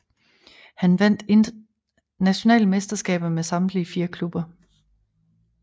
Han vandt nationale mesterskaber med samtlige fire klubber